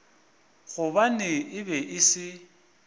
gobane e be e se